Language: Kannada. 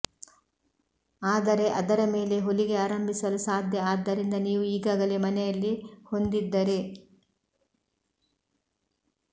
ಆದರೆ ಅದರ ಮೇಲೆ ಹೊಲಿಗೆ ಆರಂಭಿಸಲು ಸಾಧ್ಯ ಆದ್ದರಿಂದ ನೀವು ಈಗಾಗಲೇ ಮನೆಯಲ್ಲಿ ಹೊಂದಿದ್ದರೆ